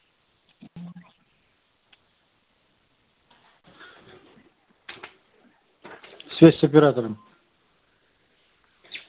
связь с оператором